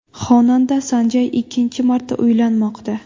Xonanda San Jay ikkinchi marta uylanmoqda.